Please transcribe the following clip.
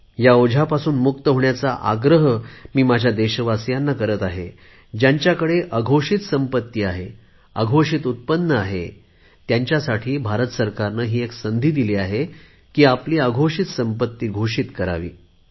ह्या ओझ्यापासून मुक्त होण्याचा आग्रह मी माझ्या देशवासीयांना करत आहे ज्यांच्याकडे अघोषित संपत्ती आहे अघोषित उत्पन्न आहे त्यांच्यासाठी भारत सरकारने एक संधी दिली आहे की आपली अघोषित संपत्ती घोषित करावी